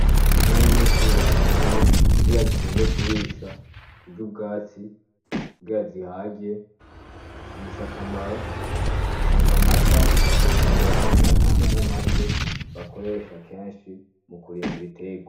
Inka nyinshi bazituye kugira zigende kurisha zija ubwatsi ubwira zihagiye zibisa akamaro zitanga amata zikongera zikanatanga n'amase bakoresha kenshi mu kurima ibitego.